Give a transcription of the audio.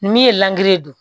Min ye ye